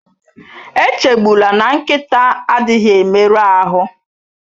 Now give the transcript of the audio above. Echegbula na nkịta adịghị emerụ ahụ